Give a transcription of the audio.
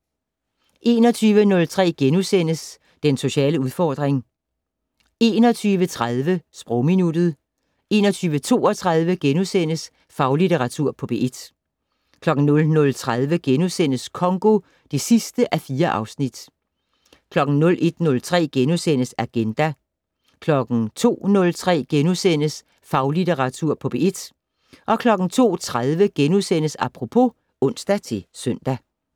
21:03: Den sociale udfordring * 21:30: Sprogminuttet 21:32: Faglitteratur på P1 * 00:30: Congo (4:4)* 01:03: Agenda * 02:03: Faglitteratur på P1 * 02:30: Apropos *(ons-søn)